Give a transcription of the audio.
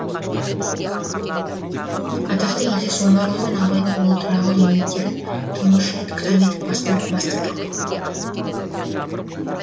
атақты елдес омарұлы мен абайдың ұлы тұрағұл еңбектерін тұңғыш рет кітап етіп бастырдық